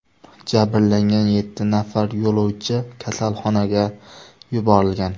Jabrlangan yetti nafar yo‘lovchi kasalxonaga yuborilgan.